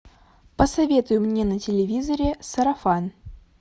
посоветуй мне на телевизоре сарафан